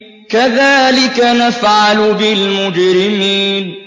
كَذَٰلِكَ نَفْعَلُ بِالْمُجْرِمِينَ